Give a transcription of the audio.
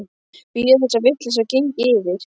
Bíða þess að vitleysan gengi yfir.